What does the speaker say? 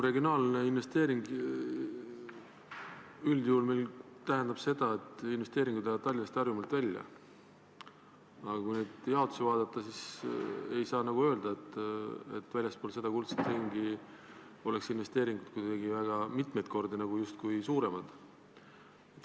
Regionaalne investeering üldjuhul tähendab seda, et investeering läheb Tallinnast ja Harjumaalt välja, aga kui seda jaotust vaadata, siis ei saa nagu öelda, et väljaspool kuldset ringi oleks investeeringud mitu korda suuremad.